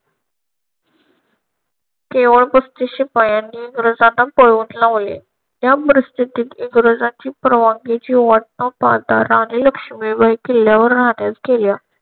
केवळ पस्तीस शिपायांनी इंग्रजांना पळवून लावले. या परिस्थितीत इंग्रजांची परवानगीची वाट न पाहता राणी लक्ष्मीबाई किल्ल्यावर राहण्यास गेल्या.